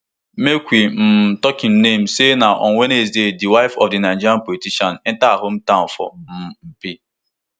make we um tok im name say na on wednesday di wife of di nigerian politician enta her hometown for um mpi